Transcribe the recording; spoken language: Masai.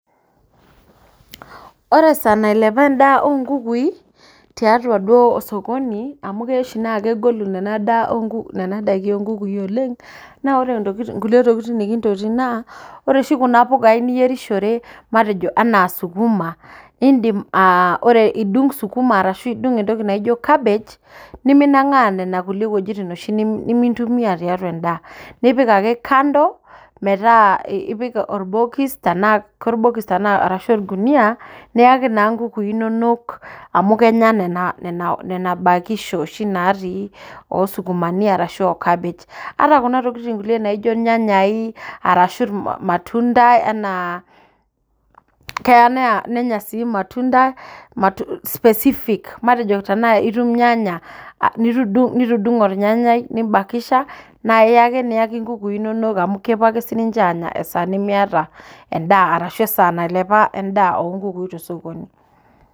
Ore esaa nailepa en'daa oonkukui tiatua duo osokoni amu keya oshi naa kegolu ina daa oonkukui nena daiki oonkukui oleng' Naa ore inkulie tokiting nikintotiyie naa ore oshi kuna pukai niyierishore katejo anaa sukuma in'dim aa ore idung' sukuma arashu idung' entoki naijo Cabbage nimingang'aa nenakulie wuejitim nimintumia tiatua en'daa nipik ake kando metaa ipik orbokis tenaa korbikis arashu olkunuyia niyaki naa inkukui inonok amu Kenya nena nena bakisho oshi naatii oosukumani ashu ookapish Ata kuna tokiting kulie naijo ilnyanyai arashu ilmatunda enaa keya nanya sii ilmatunda specific matejo tenaa itum ilnyanya nitudungo olanyanyai nimbakisha na aiyaki inkukui inonok amu kepuo ake siininje aanya esaa nimiata endaa arashu esaa nailepa en'daa oonkukui tesokoni